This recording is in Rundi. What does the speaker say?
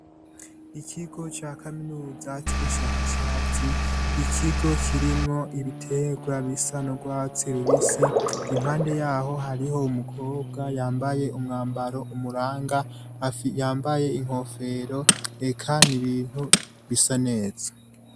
Ikigo ca kaminuza cubushakashatsi, ikigo kirimwo ibitegwa bisa n’urwatsi rubisi, impande yaho hariho umukobwa yambaye umwambaro umuranga yambaye inkofero, eka n’ibintu bisa neza.